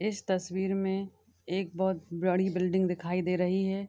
इस तस्वीर में एक बहुत पुरानी बिल्डिंग दिखाई दे रही है।